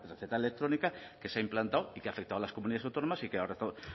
receta electrónica que se ha implantado y que ha afectado a las comunidades autónomas y que ahora